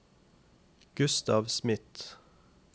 Gustav Smith